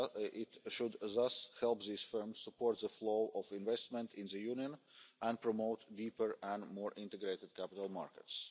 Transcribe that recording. It should thus help these firms support the flow of investment in the Union and promote deeper and more integrated capital markets.